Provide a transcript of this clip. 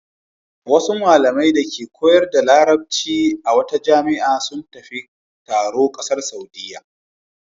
Wasu malamai dake koyar da Larabci a wata jami'a sun tafi taro ƙasar Saudiyya.